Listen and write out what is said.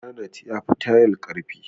Garanait ya fi tayal ƙarfi.